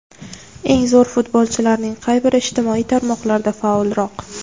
Eng zo‘r futbolchilarning qay biri ijtimoiy tarmoqlarda faolroq?